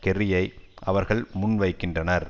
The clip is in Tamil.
கெர்ரியை அவர்கள் முன்வைக்கின்றனர்